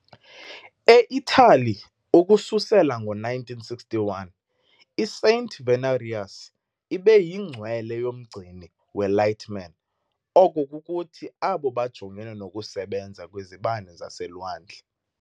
E-Italy, ukususela ngo-1961, i-Saint Venerius ibe yingcwele yomgcini we-lightmen, oko kukuthi abo bajongene nokusebenza kwezibane zaselwandle.